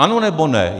Ano, nebo ne?